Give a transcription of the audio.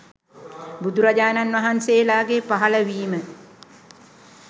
බුදුරජාණන් වහන්සේලාගේ පහළවීම